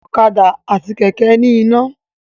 Ọ̀kadà àti Kẹ̀kẹ́ ní iná